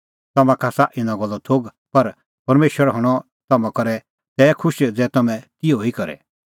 तम्हां का आसा इना गल्लो थोघ पर परमेशर हणअ तम्हां करै तै खुश ज़ै तम्हैं तिहअ ई करे